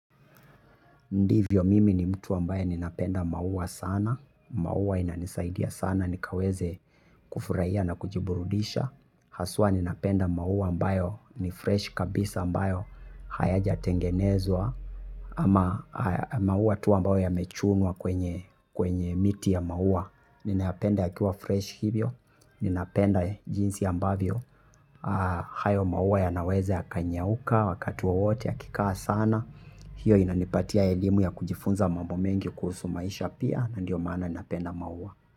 Ndivyo mimi ni mtu ambaye ninapenda maua sana. Maua inanisaidia sana nikaweze kufurahia na kujiburudisha. Haswa ninapenda maua ambayo ni fresh kabisa ambayo hayajatengenezwa. Ama maua tu ambayo yamechunwa kwenye miti ya maua. Ninayapenda yakiwa fresh hivyo. Ninapenda jinsi ambavyo. Hayo maua yanaweza yakanyauka wakati wowote yakikaa sana. Hiyo inanipatia elimu ya kujifunza mambo mengi kuhusu maisha pia na ndiyo maana ninapenda maua.